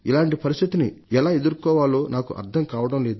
T పరిస్థితిని ఎలా ఎదుర్కోవాలో నాకు అర్థం కావడంలేదు